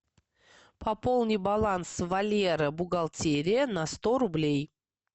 пополни баланс валера бухгалтерия на сто рублей